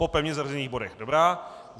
Po pevně zařazených bodech, dobrá.